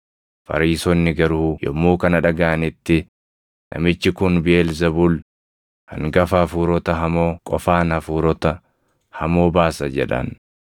Fariisonni garuu yommuu kana dhagaʼanitti, “Namichi kun Biʼeelzebuul, hangafa hafuurota hamoo qofaan hafuurota hamoo baasa” jedhan.